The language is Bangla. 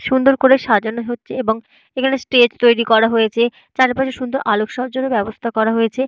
সুন্দর করে সাজানো হচ্ছে এবং এখানে স্টেজ তৈরি করা হয়েছে। চারিপাশে সুন্দর আলোকসজ্জার ও ব্যবস্থা করা হয়েছে।